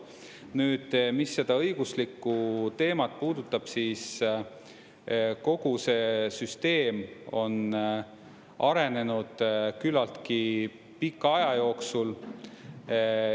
Nüüd, mis seda õiguslikku teemat puudutab, siis kogu see süsteem on arenenud küllaltki pika aja jooksul.